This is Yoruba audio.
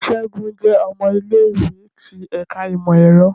Segun jẹ ọmọ ile-iwe ti Ẹka Imọ-ẹrọ